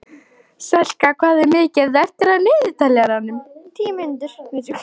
Selka, hvað er mikið eftir af niðurteljaranum?